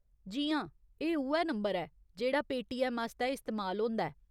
जी हां, एह् उ'ऐ नंबर ऐ जेह्ड़ा पेटीऐम्म आस्तै इस्तेमाल होंदा ऐ।